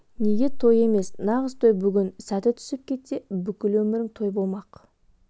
неге той емес нағыз той бүгін сәті түсіп кетсе бүкіл өмірің той болмақ